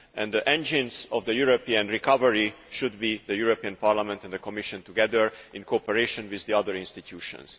The engines of the European recovery should be the European Parliament and the Commission together, in cooperation with the other institutions.